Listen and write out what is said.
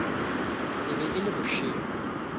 e be e le bošego